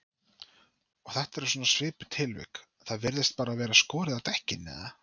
Og þetta er svona svipuð tilvik, það bara virðist vera skorið á dekkin eða?